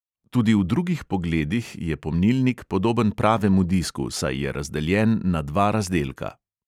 Tudi v drugih pogledih je pomnilnik podoben pravemu disku, saj je razdeljen na dva razdelka.